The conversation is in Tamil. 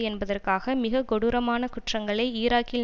என்பதற்காக மிகக்கொடூரமான குற்றங்களை ஈராக்கில்